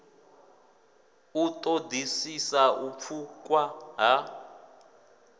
u ṱoḓisisa u pfukwa ha